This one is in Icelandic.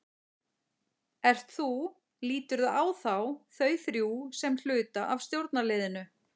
Ert þú, líturðu á þá, þau þrjú sem hluta af stjórnarliðinu?